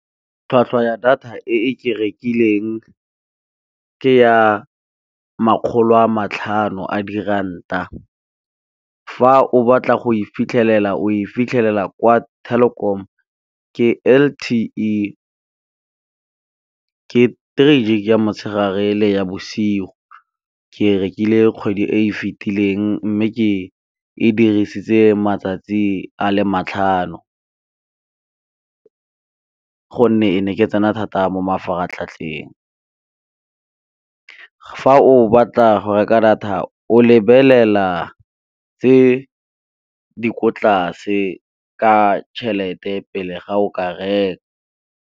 Tlhwatlhwa ya data e ke e rekileng ke ya makgolo a matlhano a diranta, fa o batla go e fitlhelela o e fitlhelela kwa Telkom ke L_T_E, ke three gig ya motshegare le ya bosigo ke rekile kgwedi e fitileng mme ke e dirisitse matsatsi a le matlhano ka gonne e ne ke tsena thata mo mafaratlhatlheng. Fa o batla go reka data o lebelela tse di ko tlase ka tšhelete pele ga o ka reka.